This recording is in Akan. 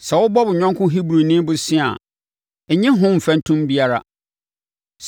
“Sɛ wobɔ wo yɔnko Hebrini bosea a, nnye ho mfɛntom biara.